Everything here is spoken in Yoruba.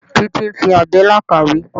Títí ń fi àbẹ́là kàwé.